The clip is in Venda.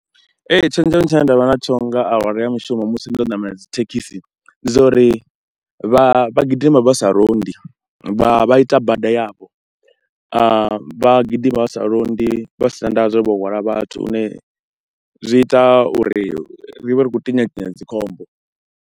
Ee tshenzhemo tshine nda vha natsho nga awara ya mishumo musi ndo ṋamela dzi thekhisi, ndi zwa uri vha vha gidima vha sa londi, vha vha ita bada yavho, vha gidima vha sa londi vha si na ndavha zwo ri vho hwala vhathu lune zwi ita uri ri vhe ri khou tinya tinya dzi khombo.